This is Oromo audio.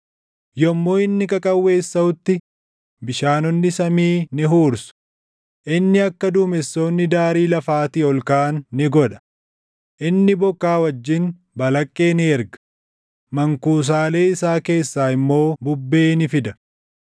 Yommuu inni qaqawweessaʼutti bishaanonni samii ni huursu; inni akka duumessoonni daarii lafaatii ol kaʼan ni godha. Inni bokkaa wajjin balaqqee ni erga; mankuusaalee isaa keessaa immoo bubbee ni fida.